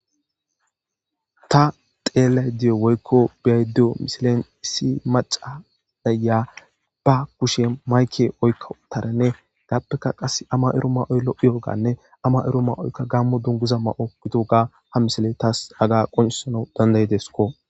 Ta xeelay diyo woykko biyayddo misilen issi maca daya ba kushe mayke oykka utaranne gappeka qas ama ero ma oyllo iyooganne ama ero ma oykka gammo dunguza ma7o gitoga ha misile taas aga qoncusana dandayidesko